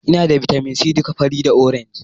Ina da bitamin c duka fari da orange